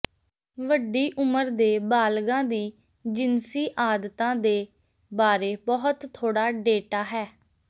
ਵੱਡੀ ਉਮਰ ਦੇ ਬਾਲਗਾਂ ਦੀ ਜਿਨਸੀ ਆਦਤਾਂ ਦੇ ਬਾਰੇ ਬਹੁਤ ਥੋੜਾ ਡੇਟਾ ਹੈ